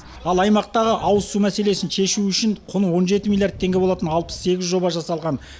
ал аймақтағы ауызсу мәселесін шешу үшін құны он жеті миллиард теңге болатын алпыс сегіз жоба жасалған